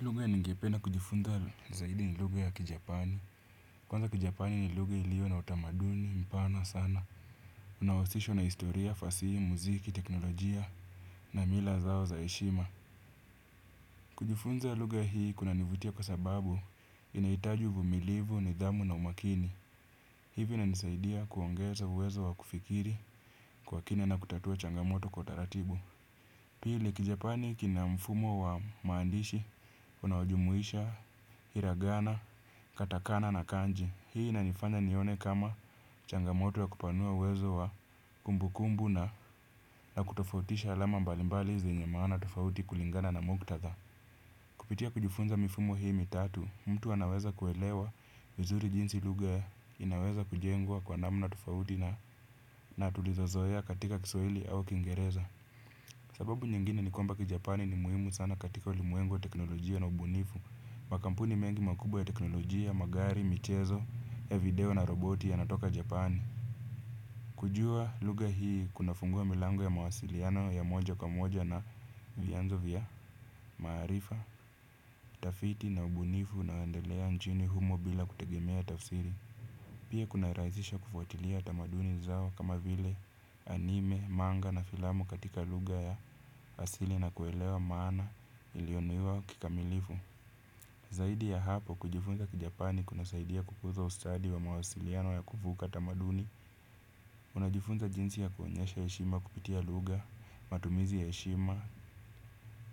Lugha ningependa kujifunza zaidi ni lugha ya kijapani. Kwanza kijapani ni lugha iliyo na utamaduni, mpana sana. Unahusishwa na historia, fasihi, muziki, teknolojia na mila zao za heshima. Kujifunza ya lugha hii kunanivutia kwa sababu inahitaji uvumilivu, nidhamu na umakini. Hivi inanisaidia kuongeza uwezo wa kufikiri kwa kina na kutatua changamoto kwa taratibu. Pili kiJapani kina mfumo wa maandishi unaojumuisha, hiragana, katakana na kanji. Hii inanifanya nione kama changamoto wa kupanua uwezo wa kumbukumbu na na kutofautisha alama mbalimbali zenye maana tofauti kulingana na muktadha. Kupitia kujifunza mifumo hii mitatu, mtu anaweza kuelewa vizuri jinsi lugha inaweza kujengwa kwa namna na tofauti na tulizozoea katika kiswahili au kingereza. Sababu nyingine ni kwamba kiJapani ni muhimu sana katika ulimwengu wa teknolojia na ubunifu. Makampuni mengi makubwa ya teknolojia, magari, michezo, video na roboti ya natoka Japani. Kujua lugha hii kunafungua milango ya mawasiliano ya moja kwa moja na vianzo vya maarifa, utafiti na ubunifu na endelea nchini humo bila kutegemea tafsiri. Pia kuna rahisisha kufuatilia tamaduni zao kama vile anime, manga na filamu katika lugha ya asili na kuelewa maana ilionuiwa kikamilifu. Zaidi ya hapo kujifunza kijapani kunasaidia kukuza ustadi wa mawasiliano ya kufuka tamaduni. Unajifunza jinsi ya kuonyesha heshima kupitia lugha, matumizi ya heshima,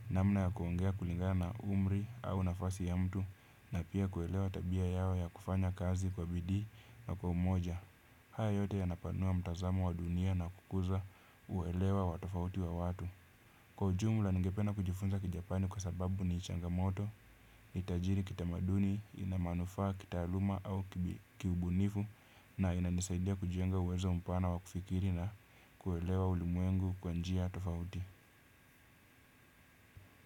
namna ya kuongea kulingana umri au nafasi ya mtu. Na pia kuelewa tabia yao ya kufanya kazi kwa bidii na kwa umoja. Haya yote yanapanua mtazamo wa dunia na kukuza uwelewa wa tofauti wa watu. Kwa ujumla ningependa kujifunza kijapani kwa sababu ni changa moto, ni tajiri kita maduni, ina manufaa kitaaluma au kiubunifu na inanisaidia kujenga uwezo mpana wa kufikiri na kuelewa ulimwengu kwa njia tofauti.